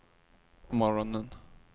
morgonen